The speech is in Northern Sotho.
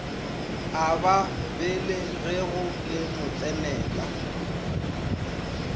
a ba belegego le motsenela